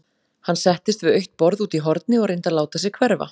Hann settist við autt borð úti í horni og reyndi að láta sig hverfa.